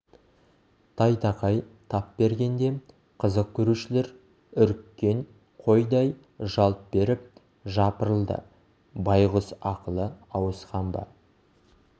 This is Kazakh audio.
тайтақай тап бергенде қызық көрушілер үріккен қойдай жалт беріп жапырылды байғұс ақылы ауысқан ба